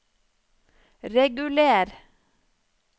reguler